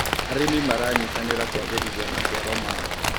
Aĩmĩ maranyĩtanĩra kũagĩrĩthĩa macĩaro mao